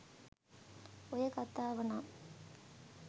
ඔය කතාව නම්